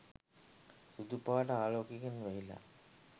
සුදු පාට ආලෝකයකින් වැහිලා.